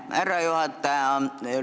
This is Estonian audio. Aitäh, härra juhataja!